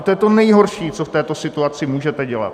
A to je to nejhorší, co v této situaci můžete dělat.